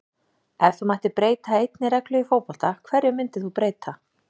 Ef þú mættir breyta einni reglu í fótbolta, hverju myndir þú breyta??